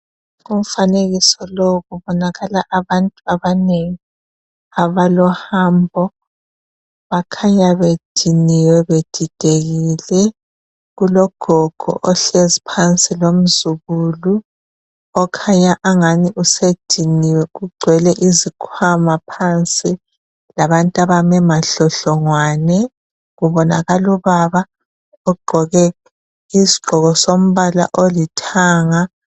Kumfanekiso lowu kubonakala abantu abanengi abalohambo bakhanya bediniwe bedidekile ,kulogogo ohlezi phansi lomzukulu okhanya angani usediniwe kugcwele izikhwama phansi labantu abame madlodlongwane ,kubonakala ubaba ogqoke Isigqoko sombala olithanga.